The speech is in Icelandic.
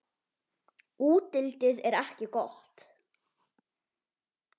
Útlitið er ekki gott.